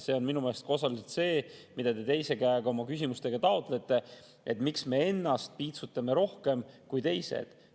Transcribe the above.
See on minu meelest osaliselt see, mida te teise käega oma küsimustega taotlete, et miks me piitsutame ennast rohkem kui teised.